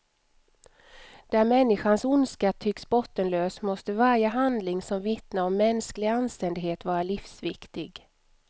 Där människans ondska tycks bottenlös måste varje handling som vittnar om mänsklig anständighet vara livsviktig.